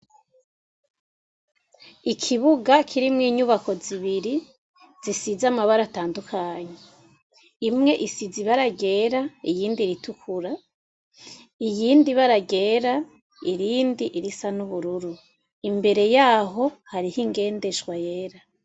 Ikibuga kirimwo inyubako zibiri zisiza amabara atandukanyi imwe isiza ibaragera iyindi ritukura iyindi baragera irindi irisa n'ubururu imbere yaho hariho ingendeshwa yera.